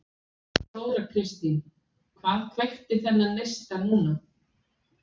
Þóra Kristín: Hvað kveikti þennan neista núna?